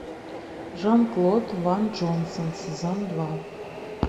жан клод ван джонсон сезон два